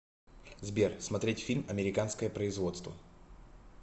сбер смотреть фильм американское производство